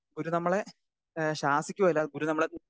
speaker 2 ഗുരു നമ്മളെ ഏഹ് ശാസിക്കുകയല്ലാതെ ഗുരു നമ്മളെ